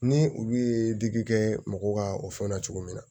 Ni olu ye digi kɛ mɔgɔw ka o fɛn na cogo min na